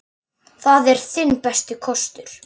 Það er þinn besti kostur.